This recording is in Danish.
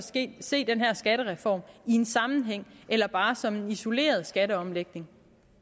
se den her skattereform i en sammenhæng eller bare som en isoleret skatteomlægning